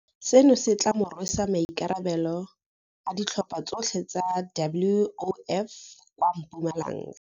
Seno se tla mo rwesa maikarabelo a ditlhopha tsotlhe tsa WOF kwa Mpumalanga.